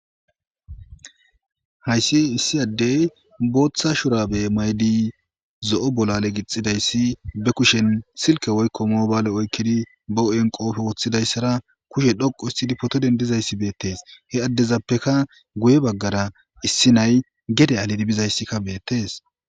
hayssi issi addey booththa shurabe maydi zo7o bolale gixxidayssi be kushen silke woykko moobaale oykkidi boo7en qoofe woththidayssara kushe dhoqo issidi poto dendizayssi beettees he addezappeka guye baggara issi nay gede alidi bizayssikka beettees